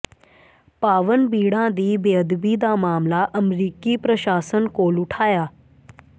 ਪਾਵਨ ਬੀੜਾਂ ਦੀ ਬੇਅਦਬੀ ਦਾ ਮਾਮਲਾ ਅਮਰੀਕੀ ਪ੍ਰਸ਼ਾਸਨ ਕੋਲ ਉਠਾਇਆ